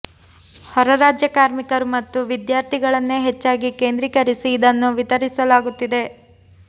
ಹೊರರಾಜ್ಯ ಕಾರ್ಮಿಕರು ಮತ್ತು ವಿದ್ಯಾರ್ಥಿ ಗಳನ್ನೇ ಹೆಚ್ಚಾಗಿ ಕೇಂದ್ರೀಕರಿಸಿ ಇದನ್ನು ವಿತರಿಸಲಾಗುತ್ತಿದೆ